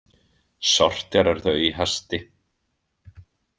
Sortérar þau í hasti.